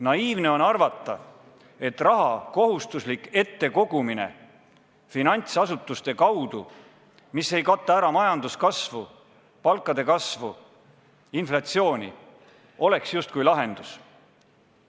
Naiivne on arvata, et finantsasutuste kaudu raha kohustuslik kogumine, mis ei kata ära majanduskasvu, palkade kasvu, inflatsiooni, oleks justkui lahendus.